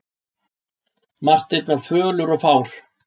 Marteinn var fölur og fár.